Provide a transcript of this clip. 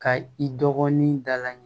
Ka i dɔgɔnin da la